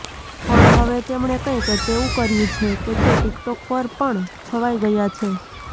પણ હવે તેમણે કંઇક તેવું કર્યું છે કે તે ટિકટોક પર પણ છવાઇ ગયા છે